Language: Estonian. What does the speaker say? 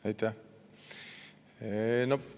Aitäh!